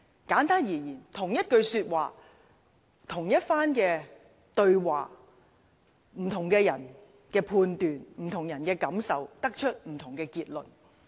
簡單而言，同一句說話，同一番對話，不同的人按其判斷和感受，可得出不同的結論。